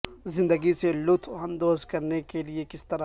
زندگی سے لطف اندوز کرنے کے لئے کس طرح